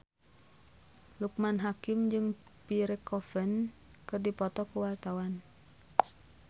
Loekman Hakim jeung Pierre Coffin keur dipoto ku wartawan